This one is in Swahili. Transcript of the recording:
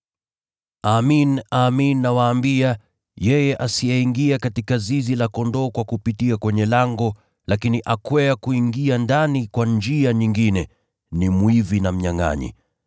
“Amin, amin nawaambia, yeye asiyeingia katika zizi la kondoo kwa kupitia kwenye lango, lakini akwea kuingia ndani kwa njia nyingine, ni mwizi na mnyangʼanyi.